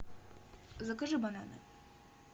закажи бананы